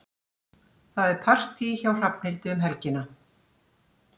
Það er partí hjá Hrafnhildi um helgina.